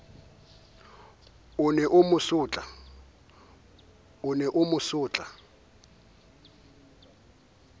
o ne o mo sotla